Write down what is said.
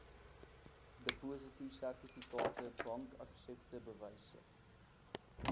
depositosertifikate bankaksepte bewyse